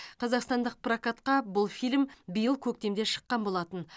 қазақстандық прокатқа бұл фильм биыл көктемде шыққан болатын